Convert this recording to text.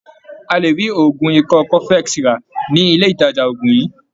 A lè rí oògùn ikọ́ cofex rà ní ilé ìtàjà oògùn yìí.